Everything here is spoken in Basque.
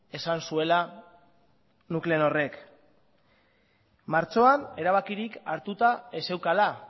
esan zuela nuclenorrek martxoan erabakirik hartuta ez zeukala